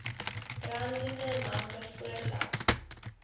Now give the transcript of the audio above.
brandende lampe voordat